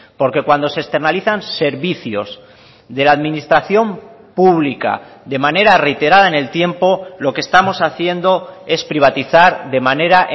porque cuando se externalizan servicios de la administración pública de manera reiterada en el tiempo lo que estamos haciendo es privatizar de manera